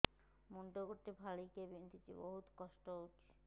ମୁଣ୍ଡ ଗୋଟେ ଫାଳିଆ ବିନ୍ଧୁଚି ବହୁତ କଷ୍ଟ ହଉଚି